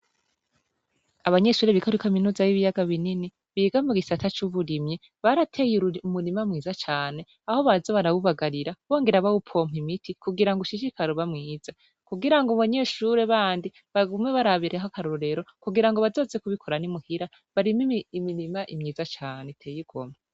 abanyeshure biga kuri kamenuza y'ibiyaga binini biga mu gisata c'uburimyi barateye umurima mwiza cyane aho baza barawubagarira bongera bawupompa imiti kugira ngo ushishikare uba mwiza kugira ngo abanyeshure bandi bagume barabiraho akarorero kugira ngo bazoze kubikora n'imuhira barime imirima myiza cane iteye igomwe